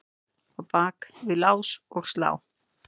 á bak við lás og slá.